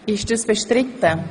Ist das bestritten?